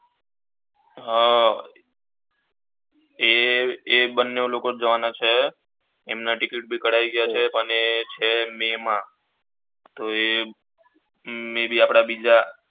હમ અર એ બને લોકો જવાના છે એમના ટીકીટ બી કઢાઈ ગયા છે અને એ છે મે મા me be આપડા બીજા